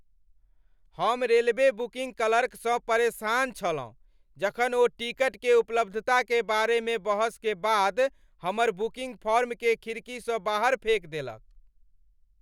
हम railway booking clerk सँ परेशान छलहुँ जखन ओ टिकट के उपलब्धता के बारे मे बहस के बाद हमर बुकिंग फॉर्म केँ खिड़की सँ बाहर फेक देलक ।